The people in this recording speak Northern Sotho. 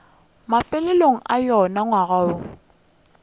mafelelong a wona ngwaga woo